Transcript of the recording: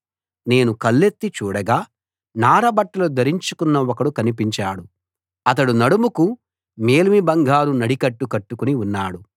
నేను కళ్ళెత్తి చూడగా నారబట్టలు ధరించుకున్న ఒకడు కనిపించాడు అతడు నడుముకు మేలిమి బంగారు నడికట్టు కట్టుకుని ఉన్నాడు